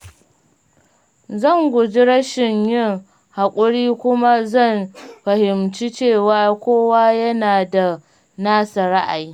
Zan guji rashin yin haƙuri kuma zan fahimci cewa kowa yana da nasa ra'ayi.